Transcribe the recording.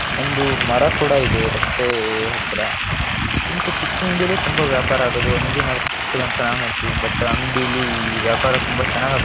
ಒಂದು ಮರ ಕುಡ ಇದೆ ರಸ್ತೆ ಹತ್ರ ಇದು ಚಿಕ್ಕ ಅಂಗಡಿಲೆ ತುಂಬಾ ವ್ಯಾಪರ ಆಗೊದು ಅಂಗಡಿ ಮಾತ್ರ ಚಿಕ್ಕದು ಅಂತ ನಾವು ಹೆಳ್ತಿವಿ ಬಟ್‌ ಅಂಗಡಿಲಿ ವ್ಯಾಪಾರ ತುಂಬಾ ಚೆನ್ನಾಗ ಆಗುತ್ --